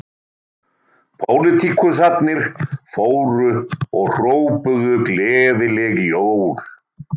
Pólitíkusarnir fóru og hrópuðu gleðileg jól